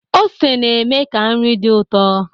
Ose na-eme ka nri dị ụtọ